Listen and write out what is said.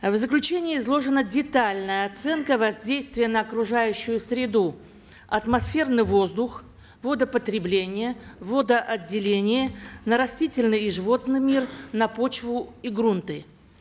в заключении изложена детальная оценка воздействия на окружающую среду атмосферный воздух водопотребление водоотделение на растительный и животный мир на почву и грунты